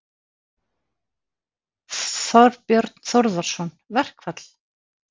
Þorbjörn Þórðarson: Verkfall?